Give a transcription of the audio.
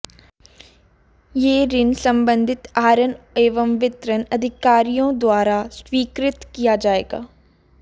यह ऋण संबंधित आहरण एवं वितरण अधिकारियों द्वारा स्वीकृत किया जाएगा